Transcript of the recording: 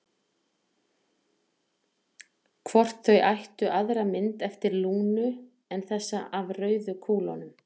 Hvort þau ættu aðra mynd eftir Lúnu en þessa af rauðu kúlunum?